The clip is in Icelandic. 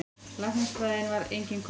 Læknisfræðin var engin köllun.